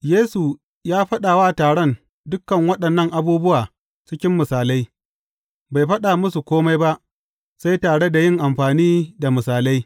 Yesu ya faɗa wa taron dukan waɗannan abubuwa cikin misalai; bai faɗa musu kome ba, sai tare da yin amfani da misalai.